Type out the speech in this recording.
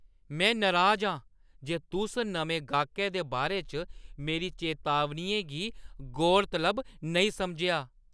में नराज आं जे तुस नमें गाह्कै दे बारे च मेरी चेतावनियें गी गौरतलब नेईं समझेआ ।